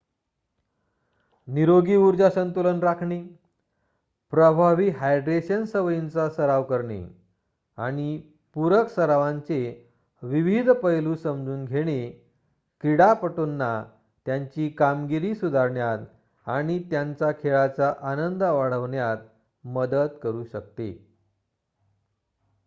निरोगी ऊर्जा संतुलन राखणे प्रभावी हायड्रेशन सवयींचा सराव करणे आणि पूरक सरावांचे विविध पैलू समजून घेणे क्रीडापटूंना त्यांची कामगिरी सुधारण्यात आणि त्यांचा खेळाचा आनंद वाढवण्यात मदत करू शकते